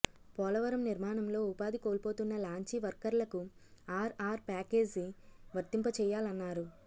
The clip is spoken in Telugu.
పోలవరం నిర్మాణంలో ఉపాధి కోల్పోతున్న లాంచీ వర్కర్లకు ఆర్ఆర్ ప్యాకేజీ వర్తింప చేయాలన్నారు